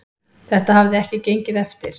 Þetta hafi ekki gengið eftir.